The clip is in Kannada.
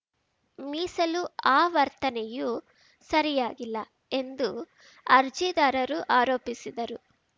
ಮೀಸಲು ಆವರ್ತನೆಯೂ ಸರಿಯಾಗಿಲ್ಲ ಎಂದು ಅರ್ಜಿದಾರರು ಆರೋಪಿಸಿದರು